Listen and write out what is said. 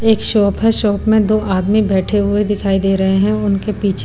एक शॉप है शॉप में दो आदमी बैठे हुए दिखाई दे रहे हैं उनके पीछे--